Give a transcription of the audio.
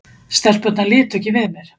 Stelpurnar litu ekki við mér.